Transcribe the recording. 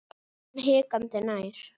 Ég kom hikandi nær.